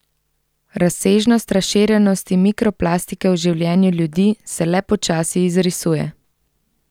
Razsežnost razširjenosti mikroplastike v življenju ljudi se le počasi izrisuje.